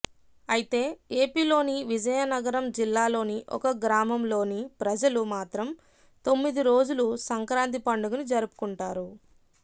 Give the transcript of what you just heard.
అయితే ఏపీలోని విజయనగరం జిల్లాలోని ఒక గ్రామంలోని ప్రజలు మాత్రం తొమ్మిది రోజులు సంక్రాంతి పండుగను జరుపుకుంటారు